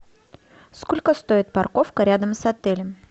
сколько стоит парковка рядом с отелем